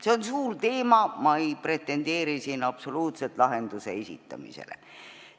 See on suur teema ja ma ei pretendeeri siin absoluutselt lahenduse esitamisele.